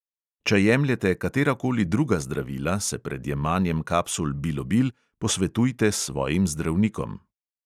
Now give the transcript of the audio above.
Če jemljete katerakoli druga zdravila, se pred jemanjem kapsul bilobil posvetujte s svojim zdravnikom.